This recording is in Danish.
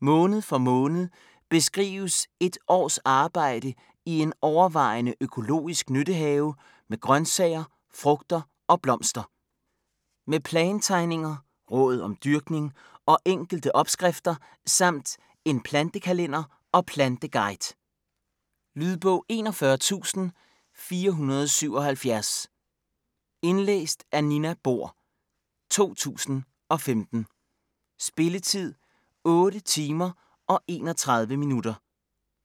Måned for måned beskrives et års arbejde i en overvejende økologisk nyttehave med grøntsager, frugter og blomster. Med plantegninger, råd om dyrkning og enkelte opskrifter samt en plantekalender og planteguide. Lydbog 41477 Indlæst af Nina Bohr, 2015. Spilletid: 8 timer, 31 minutter.